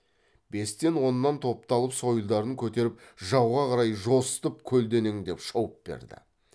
бестен оннан топталып сойылдарын көтеріп жауға қарай жосытып көлденеңдеп шауып берді